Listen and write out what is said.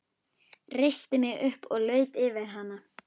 Reisti mig upp og laut yfir hana.